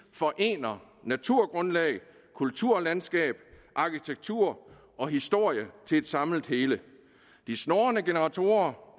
forener naturgrundlag kulturlandskab arkitektur og historie til et samlet hele de snurrende generatorer